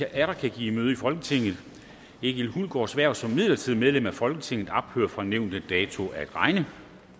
atter kan give møde i folketinget egil hulgaards hverv som midlertidigt medlem af folketinget ophører fra nævnte dato at regne